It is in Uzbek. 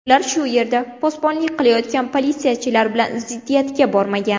Ular shu yerda posbonlik qilayotgan politsiyachilar bilan ziddiyatga bormagan.